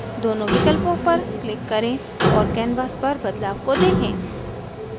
दोनों विकल्पों पर click करें और canvas पर बदलाव को देखें